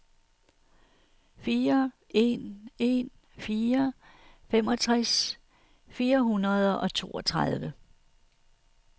fire en en fire femogtres fire hundrede og toogtredive